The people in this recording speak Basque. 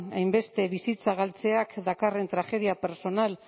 hainbeste bizitza galtzeak dakarren tragedia pertsonal